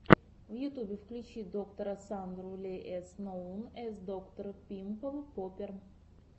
в ютубе включи доктора сандру ли эс ноун эс доктор пимпл поппер